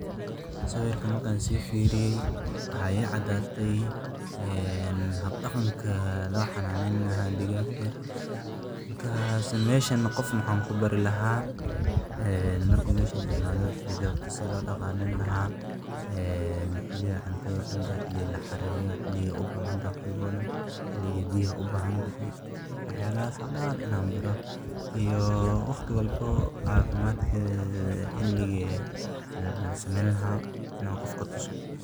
Sawirkan marki an sifiriye waxaa icadate ee habdaqanka lo xanenyni laha waxan u bari laha sitha dagagta lo daqaleyo sitha cuntadha lasiyo xiliyaada biyaha lasiyo xiliyadha ladaqaleyo waxas dan ayan kubari laha oo cafadkedha xiligi lasameyni laha in aa qofka tuso.